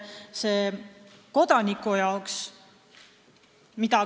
See on kodanike jaoks oluline.